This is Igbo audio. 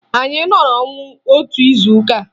Anyị nọrọ ọnwụ otu izuụka